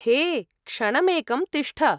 हे, क्षणमेकं तिष्ठ।